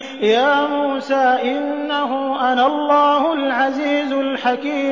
يَا مُوسَىٰ إِنَّهُ أَنَا اللَّهُ الْعَزِيزُ الْحَكِيمُ